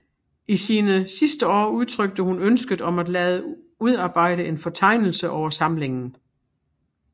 I sine sidste år udtrykte hun ønsket om at lade udarbejde en fortegnelse over samlingen